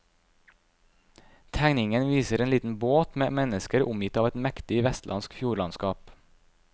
Tegningen viser en liten båt med mennesker omgitt av et mektig vestlandsk fjordlandskap.